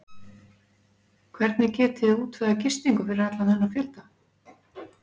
Hvernig getiði útvegað gistingu fyrir allan þennan fjölda?